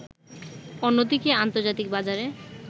অন্যদিকে আন্তর্জাতিক বাজারে